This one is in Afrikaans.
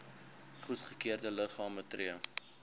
goedgekeurde liggame tree